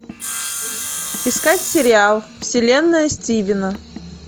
искать сериал вселенная стивена